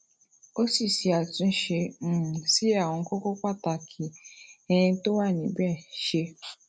ó sì ṣe àtúnṣe um sí àwọn kókó pàtàkì um tó wà níbè ṣe